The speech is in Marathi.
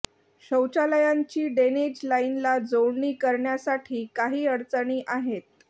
शौचालयांची डे्नेज लाईनला जोडणी करण्यासाठी काही अडचणी आहेत